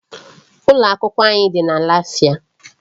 Ụlọ akwụkwọ anyị dị na Lafia.